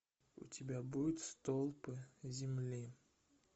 у тебя будет столпы земли